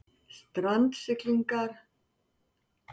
Strandsiglingar hefjist á ný